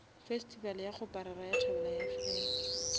festival ya kgoparara ya thobelafm